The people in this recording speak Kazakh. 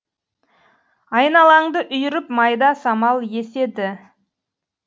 айналаңды үйіріп майда самал еседі